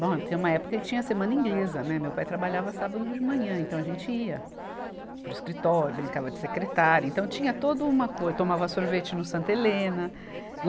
Bom, tinha uma época que tinha a semana inglesa, né, meu pai trabalhava sábado de manhã, então a gente ia para o escritório, brincava de secretária, então tinha todo uma coisa, tomava sorvete no Santa Helena.